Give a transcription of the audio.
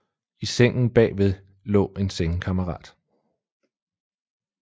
I sengen bagved lå en sengekammerat